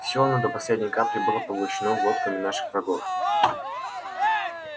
всё оно до последней капли было поглощено глотками наших врагов